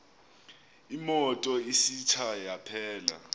imoto isitsha yaphela